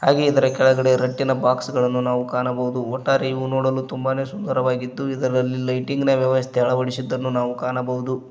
ಹಾಗೆ ಇದರ ಕೆಳಗಡೆ ರಟ್ಟಿನ ಬಾಕ್ಸ ಗಳನ್ನು ನಾವು ಕಾಣಬಹುದು ಒಟ್ಟಾರೆ ಇವು ನೋಡಲು ತುಂಬಾನೇ ಸುಂದರವಗಿದ್ದು ಇದರಲ್ಲಿ ಲೈಟಿಂಗ್ ನಾ ವ್ಯವಸ್ಥೆ ಅಳವಡಿಸಿದ್ದು ನಾವು ಕಾಣಬಹುದು.